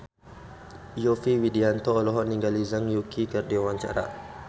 Yovie Widianto olohok ningali Zhang Yuqi keur diwawancara